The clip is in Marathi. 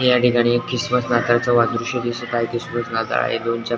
याठिकाणी एक क्रिसमस नाताळ च दृश दिसत आहे क्रिसमस नाताळ हे दोनच्या--